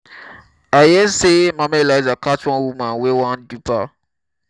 i hear say mama elijah catch one woman wey wan dupe her